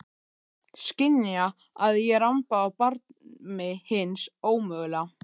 Skynja að ég ramba á barmi hins ómögulega.